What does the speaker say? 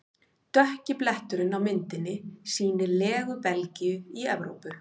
Dökki bletturinn á myndinni sýnir legu Belgíu í Evrópu.